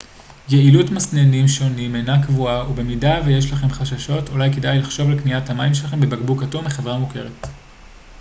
יעילות מסננים שונים אינה קבועה ובמידה ויש לכם חששות אולי כדאי לכם לחשוב על קניית המים שלכם בבקבוק אטום מחברה מוכרת